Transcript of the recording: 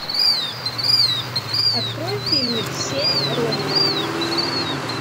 открой фильмик семь ронинов